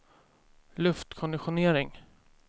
luftkonditionering